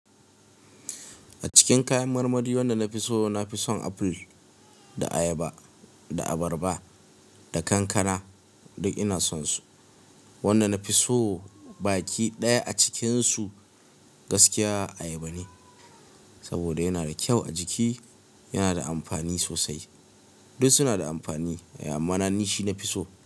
A cikin kayan marmari wanda na fi so, na fi son aful, da ayaba, da abarba, da kankana duk ina son su. Wanda na fi so baki ɗaya a cikinsu gaskiya ayaba ne. Saboda yana da kyau a jiki, yana da amfani sosai. Duk suna da amfani eh amma na ni shi na fi so.